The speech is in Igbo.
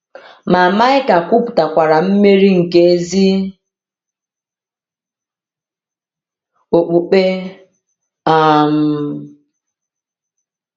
Ma Maịka kwupụtakwara mmeri nke ezi okpukpe um.